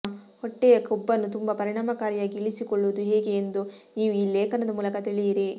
ಹೊಟ್ಟೆಯ ಕೊಬ್ಬನ್ನು ತುಂಬಾ ಪರಿಣಾಮಕಾರಿಯಾಗಿ ಇಳಿಸಿಕೊಳ್ಳುವುದು ಹೇಗೆ ಎಂದು ನೀವು ಈ ಲೇಖನದ ಮೂಲಕ ತಿಳಿಯಿರಿ